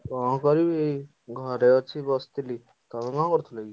କଣ କରିବି ଘରେ ଅଛି ବସିଥିଲି ତମେ କଣ କରୁଥିଲ କି?